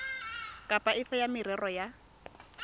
kapa efe ya merero ya